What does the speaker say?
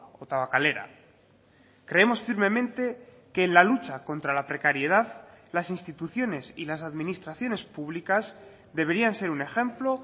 o tabakalera creemos firmemente que en la lucha contra la precariedad las instituciones y las administraciones públicas deberían ser un ejemplo